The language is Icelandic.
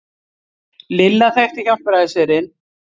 Lilla þekkti Hjálpræðisherinn.